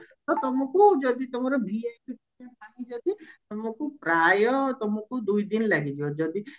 ତ ତମକୁ ଯଦି ତମର VIP ଟିକେଟ କାଟିଚନ୍ତି ତମକୁ ପ୍ରାୟ ତମକୁ ଦୁଇ ଦିନ ଲାଗିଯିବ ଯଦି